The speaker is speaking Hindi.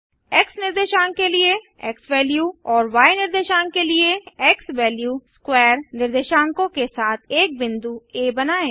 एक्स निर्देशांक के लिए एक्सवैल्यू और य निर्देशांक के लिए xValue2 निर्देशांकों के साथ एक बिंदु आ बनाएँ